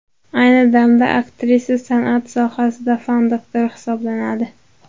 Ayni damda aktrisa san’at sohasida fan doktori hisoblanadi.